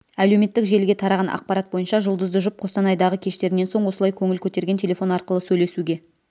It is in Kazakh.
әлеуметтік желіге тараған ақпарат бойынша жұлдызды жұп қостанайдағы кештерінен соң осылай көңіл көтерген телефон арқылы сөйлесуге